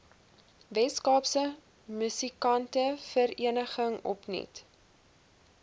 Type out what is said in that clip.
weskaapse musikantevereniging opnuut